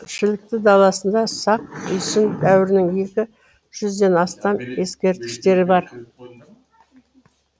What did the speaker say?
шілікті даласында сақ үйсін дәуірінің екі жүзден астам ескерткіштері бар